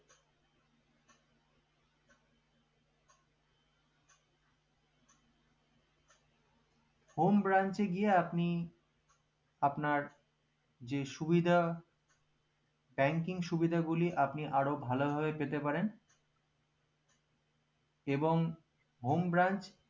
home branch এ গিয়ে আপনি আপনার যে সুবিধা banking সুবিধাগুলি আপনি আরো ভাল ভাবে পেতে পারেন এবং home branch